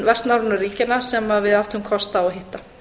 vestnorrænu ríkjanna sem við áttum kost á að hitta